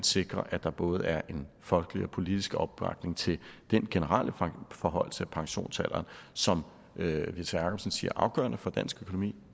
sikre at der både er en folkelig og politisk opbakning til den generelle forhøjelse af pensionsalderen som whitta jacobsen siger afgørende for dansk økonomi